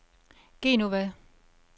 Genova